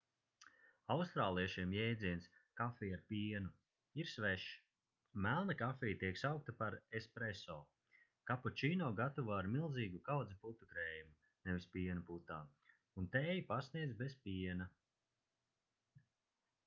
austrāliešiem jēdziens 'kafija ar pienu' ir svešs. melna kafija tiek saukta par 'espresso' kapučīno gatavo ar milzīgu kaudzi putukrējuma nevis piena putām un tēju pasniedz bez piena